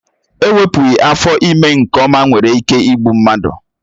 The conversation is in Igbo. Ewepụghị afọ ime nke ọma nwere ike ịbụ mmadụ.